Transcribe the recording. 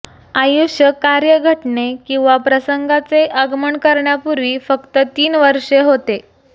आयुष्य कार्य घटने किंवा प्रसंगाचे आगमन करण्यापूर्वी फक्त तीन वर्षे होते